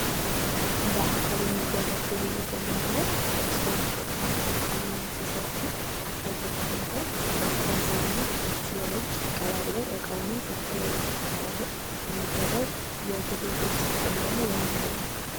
በአካል የሚደረግ ግብይት የምንለው ሰዎች እቃ ሲገዙና ሲሸጡ በአካል ተገናኝተው ገንዘቡን እጅ ለእጅ ተቀባብለው እቃውን እጅ ለእጅ ተቀባብለው የሚደረግ የግብይት ወይም ደግሞ የንግድ አይነት ነው።